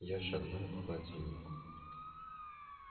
я шагнул к холодильнику